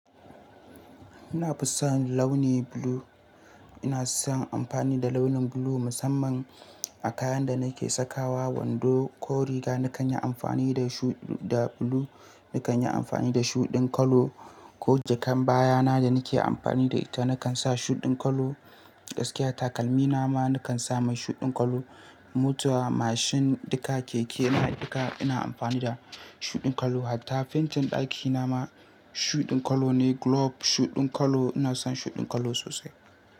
Ina fusan launi blue. Ina son amfani da launin blue musamman a kayan da nake sakawa, wando ko riga nakan yi amfani da shu- da blue, nakan yi amfani da shuɗin colour ko jakan baya na da nake amfani da ita, nakan sa shuɗin colour. Gaskiya takalmi na ma nakan sa mai shuɗin kallo. Mota mashin duka keke ina duka ina amfani da shuɗin kallo. Hatta fentin ɗakina ma shuɗin clour ne, globe shuɗin colour. Ina son shuɗin kallo sosai.